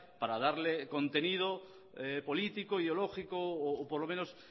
para darle contenido político ideológico o por lo menos